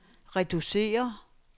reducere